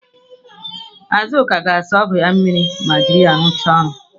Azụka ga-asa ọgụ ya mmiri ma ejiri ya rụchaa ọrụ.